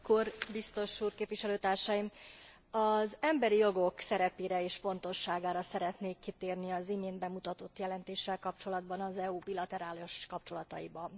Elnök úr, biztos úr, képviselőtársaim! Az emberi jogok szerepére és fontosságára szeretnék kitérni az imént bemutatott jelentéssel kapcsolatban az EU bilaterális kapcsolataiban.